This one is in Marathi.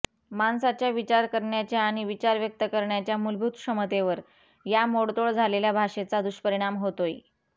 माणसाच्या विचार करण्याच्या आणि विचार व्यक्त करण्याच्या मूलभूत क्षमतेवर या मोडतोड झालेल्या भाषेचा दुष्परिणाम होतोय